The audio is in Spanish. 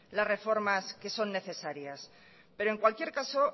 las reformas que son necesarias pero en cualquier caso